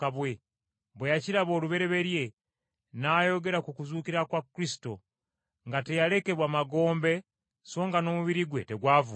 bwe yakiraba olubereberye nayogera ku kuzuukira kwa Kristo nga teyalekebwa magombe so nga n’omubiri gwe tegwavunda.